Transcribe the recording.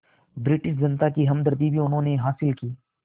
British जनता की हमदर्दी भी उन्होंने हासिल की